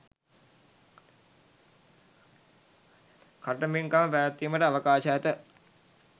කඨින පින්කම් පැවැත්වීමට අවකාශ ඇත.